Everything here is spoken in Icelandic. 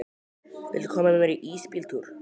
Viljiði koma með í ísbíltúr?